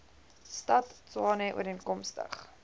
stad tshwane ooreenkomstig